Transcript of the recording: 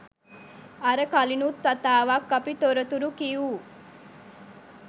අර කලිනුත් වතාවක් අපි තොරතුරු කිවූ